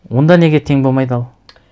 онда неге тең болмайды ал